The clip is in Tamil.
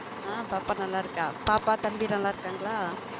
ஹம் பாப்பா நல்லா இருக்கா பாப்பா தம்பிலாம் நல்லா இருக்காங்களா?